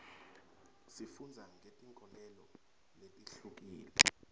sifundza ngetinkholelo letihlukile